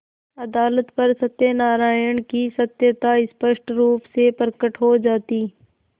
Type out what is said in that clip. अदालत पर सत्यनारायण की सत्यता स्पष्ट रुप से प्रकट हो जाती